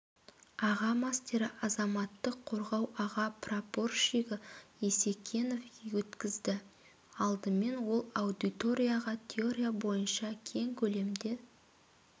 аға мастері азаматтық қорғау аға прапорщигі есекенов өткізді алдымен ол аудиторияға теория бойынша кең көлемде